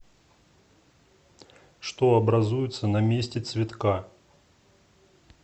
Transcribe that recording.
что образуется на месте цветка